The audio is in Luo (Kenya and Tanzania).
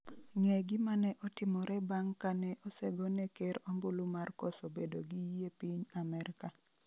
Ng'e gima ne otimore bang' kane osegone ker ombulu mar koso bedo gi yie piny Amerka